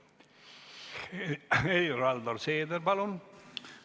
Helir-Valdor Seeder, palun!